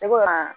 Ne ko aa